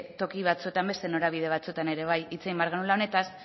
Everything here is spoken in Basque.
toki batzuetan beste norabide batzuetan ere bai hitz egin behar genuela honetaz